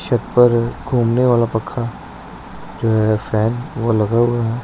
छत पर घूमने वाला पंखा जो ये फैन वो लगा हुआ--